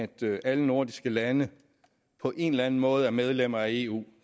det at alle nordiske lande på en eller anden måde er medlemmer af eu